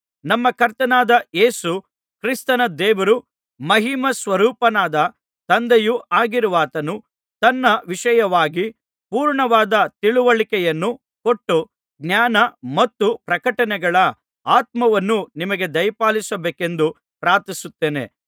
ನಮ್ಮ ಕರ್ತನಾದ ಯೇಸು ಕ್ರಿಸ್ತನ ದೇವರೂ ಮಹಿಮಾಸ್ವರೂಪನಾದ ತಂದೆಯೂ ಆಗಿರುವಾತನು ತನ್ನ ವಿಷಯವಾಗಿ ಪೂರ್ಣವಾದ ತಿಳಿವಳಿಕೆಯನ್ನು ಕೊಟ್ಟು ಜ್ಞಾನ ಮತ್ತು ಪ್ರಕಟಣೆಗಳ ಆತ್ಮವನ್ನು ನಿಮಗೆ ದಯಪಾಲಿಸಬೇಕೆಂದು ಪ್ರಾರ್ಥಿಸುತ್ತೇನೆ